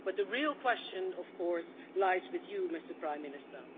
But the real question of course lies with you, Prime Minister.